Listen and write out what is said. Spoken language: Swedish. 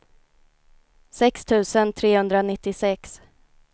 sex tusen trehundranittiosex